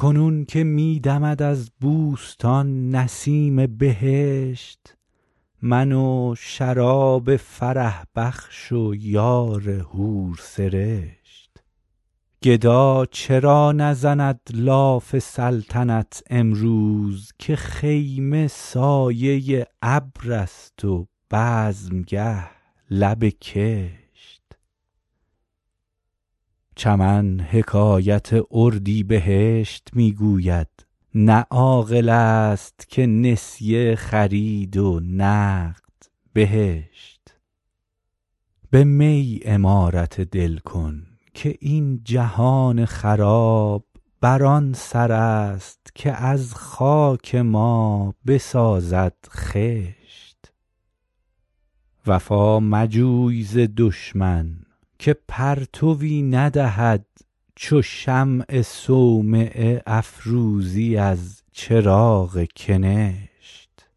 کنون که می دمد از بوستان نسیم بهشت من و شراب فرح بخش و یار حورسرشت گدا چرا نزند لاف سلطنت امروز که خیمه سایه ابر است و بزمگه لب کشت چمن حکایت اردیبهشت می گوید نه عاقل است که نسیه خرید و نقد بهشت به می عمارت دل کن که این جهان خراب بر آن سر است که از خاک ما بسازد خشت وفا مجوی ز دشمن که پرتوی ندهد چو شمع صومعه افروزی از چراغ کنشت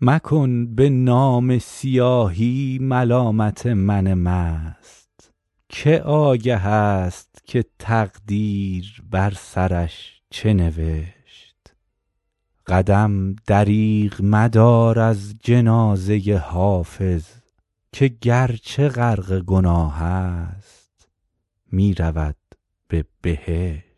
مکن به نامه سیاهی ملامت من مست که آگه است که تقدیر بر سرش چه نوشت قدم دریغ مدار از جنازه حافظ که گرچه غرق گناه است می رود به بهشت